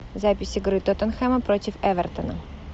запись игры тоттенхэма против эвертона